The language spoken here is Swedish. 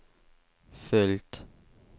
följt